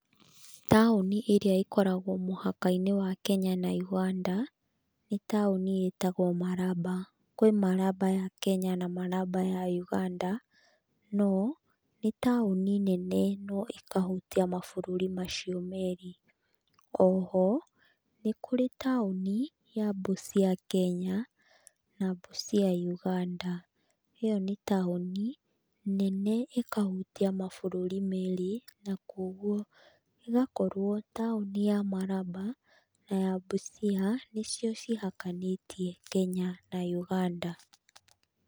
Taũni ĩrĩa ĩkoragwo Mũhaka-inĩ wa Kenya na Uganda nĩ taũni ĩtagwo Maraba. Kwĩ Maraba ya Kenya na Maraba ya Uganda, no nĩ taũni nene no ĩkahutia mabũrũri macio merĩ. Oho, nĩ kũrĩ taũni ya Busia Kenya, na Busia Uganda. Ĩyo ni taũni nene ĩkahutia mabũrũri merĩ na koguo ĩgakorwo taũni ya Maraba, na ya Busia nĩcio cihakanĩtie Kenya na Uganda.